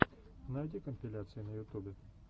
найди компиляции на ютубе